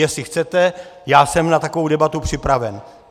Jestli chcete, já jsem na takovou debatu připraven.